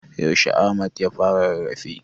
Yaushe Ahmad ya fara rarrafe?